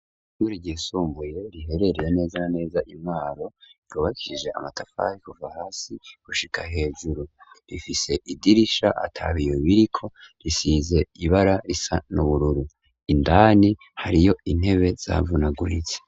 Ishure ryisumbuye riherereye neza neza i Mwaro ryubakishije amatafari kuva hasi gushika hejuru. rifise idirisha atabiyo biriko, risize ibara risa n'ubururu indani hariyo intebe zavunaguritse.